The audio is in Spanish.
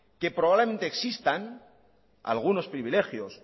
que probablemente existan algunos privilegios